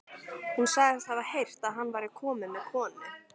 Hún sagðist hafa heyrt að hann væri kominn með konu.